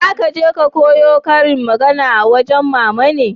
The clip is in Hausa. za ka je ka koya ƙarin magana a wajen mama ne?